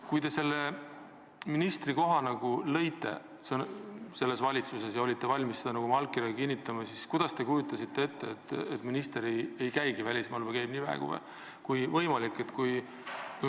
Kui te selle ministrikoha oma valitsuses lõite ja olite valmis seda oma allkirjaga kinnitama, kas te siis kujutasite ette, et see minister ei käigi välismaal või käib nii vähe, kui võimalik?